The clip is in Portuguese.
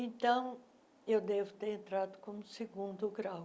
Então, eu devo ter entrado como segundo grau,